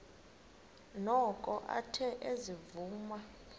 noko athe ezivuma